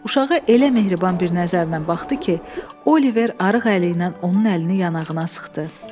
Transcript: Uşağa elə mehriban bir nəzərlə baxdı ki, Oliver arıq əli ilə onun əlini yanağına sıxdı.